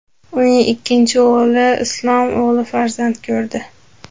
Uning ikkinchi o‘g‘li Islom o‘g‘il farzand ko‘rdi.